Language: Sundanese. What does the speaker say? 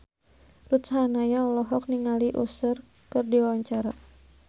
Ruth Sahanaya olohok ningali Usher keur diwawancara